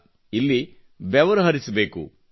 ಅದಲ್ಲ ಇಲ್ಲಿ ಬೆವರು ಹರಿಸಬೇಕು